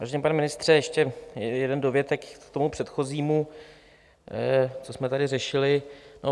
Vážený pane ministře, ještě jeden dovětek k tomu předchozímu, co jsme tady řešili.